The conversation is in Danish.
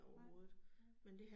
Nej, nej